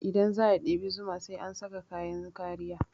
Idan za a ɗebi zuma sai an saka kayan kariya